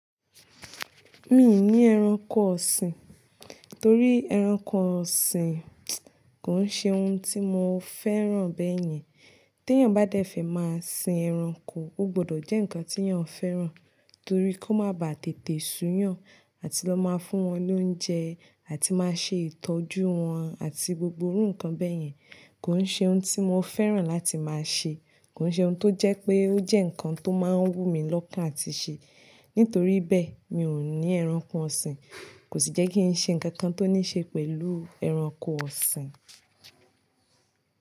Mi ní ẹranko ọ̀sìn, torí ẹranko ọ̀sìn kò ń ṣe ohun tí mo fẹ́ràn bẹ́yẹn. Tí èèyàn bá dẹ́fẹ̀ máa sin ẹranko, ó gbọdọ̀ jẹ́ ǹkan tí èèyàn fẹ́ràn, torí kó má ba tètè sun yàn, àti lọ máa fún wọn lóúnjẹ, àti máa ṣe ìtọ́jú wọn àti gbogbo iru nkan bẹ́yẹn. Kò ń ṣe ohun tí mo fẹ́ràn láti máa ṣe. Kò ń ṣe ohun tó jẹ́ pé ó jẹ́ ǹkan tó máa ń wú mi lọ́kàn àti ṣe. Nítorí bẹ́ẹ̀, mi ò ní ẹranko ọ̀sìn, kò sì jẹ́ kí n ṣe ǹkan kan tó ní ṣe pẹ̀lú ẹranko ọ̀sìn.